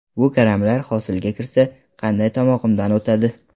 Bu karamlar hosilga kirsa, qanday tomog‘imdan o‘tadi?!